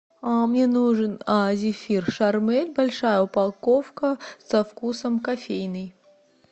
мне нужен зефир шармель большая упаковка со вкусом кофейный